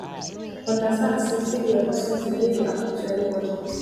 understand sey failure na something wey dey happen to anybody